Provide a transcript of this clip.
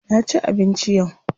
Na ci abinci yau.